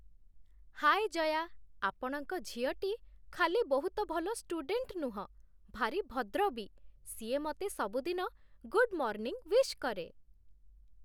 ହାଏ ଜୟା, ଆପଣଙ୍କ ଝିଅଟି ଖାଲି ବହୁତ ଭଲ ଷ୍ଟୁଡେଣ୍ଟ ନୁହଁ, ଭାରି ଭଦ୍ର ବି ସିଏ ମତେ ସବୁଦିନ 'ଗୁଡ୍ ମର୍ଣ୍ଣିଂ' ୱିଶ୍ କରେ ।